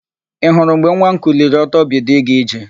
Ị hụrụ mgbe nwa m kuliri ọtọ bido ịga ije?